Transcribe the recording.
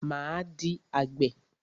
Máa di àgbè.